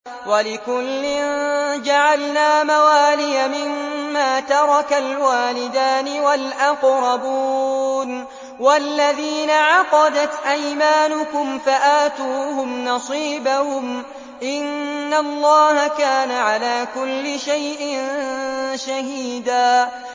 وَلِكُلٍّ جَعَلْنَا مَوَالِيَ مِمَّا تَرَكَ الْوَالِدَانِ وَالْأَقْرَبُونَ ۚ وَالَّذِينَ عَقَدَتْ أَيْمَانُكُمْ فَآتُوهُمْ نَصِيبَهُمْ ۚ إِنَّ اللَّهَ كَانَ عَلَىٰ كُلِّ شَيْءٍ شَهِيدًا